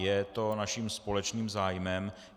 Je to naším společným zájmem.